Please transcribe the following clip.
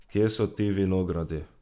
Kje so ti vinogradi?